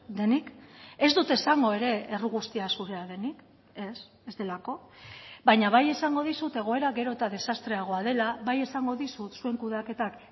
denik ez dut esango ere erru guztia zurea denik ez ez delako baina bai esango dizut egoera gero eta desastreagoa dela bai esango dizut zuen kudeaketak